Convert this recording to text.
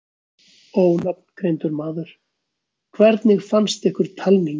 Ónafngreindur maður: Hvernig fannst ykkur talningin?